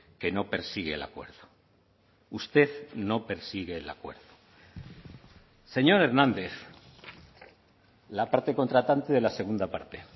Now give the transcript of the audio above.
que no persigue el acuerdo usted no persigue el acuerdo señor hernández la parte contratante de la segunda parte